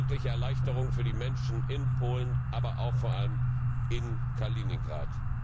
Das ist eine wirkliche Erleichterung für die Menschen in Polen, aber auch vor allem in Kaliningrad.